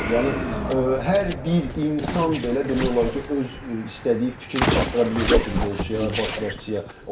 Yəni hər bir insan belə demək olar ki, öz istədiyi fikri çatdıra bilir də futbolçuya, baş məşqçiyə.